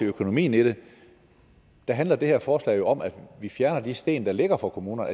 økonomien i det handler det her forslag jo om at fjerne de sten der ligger for kommunerne